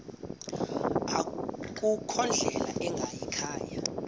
akukho ndlela ingayikhaya